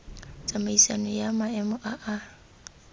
tsamaisano ya maemo a a